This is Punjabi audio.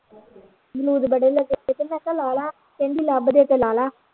ਅਮਰੂਦ ਬੜੇ ਲੱਗੇ ਮੈਂ ਕਿਹਾ ਲਾ ਲਾ ਕਹਿੰਦੀ ਲੱਭਦੀ ਤੇ ਲਾ ਲਾ